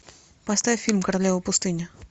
поставь фильм королева пустыни